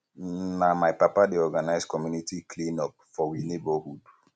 na my papa dey organise community cleanup for we neborhood